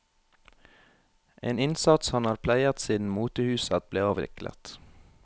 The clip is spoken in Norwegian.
En innsats han har pleiet siden motehuset ble avviklet.